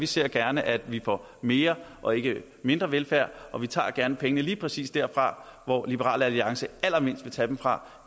vi ser gerne at vi får mere og ikke mindre velfærd og vi tager gerne pengene lige præcis der hvor liberal alliance allermindst vil tage dem fra